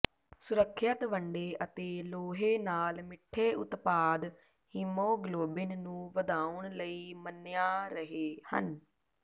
ਸੁਰੱਖਿਅਤ ਵੰਡੇ ਅਤੇ ਲੋਹੇ ਨਾਲ ਮਿੱਠੇ ਉਤਪਾਦ ਹੀਮੋਗਲੋਬਿਨ ਨੂੰ ਵਧਾਉਣ ਲਈ ਮੰਨਿਆ ਰਹੇ ਹਨ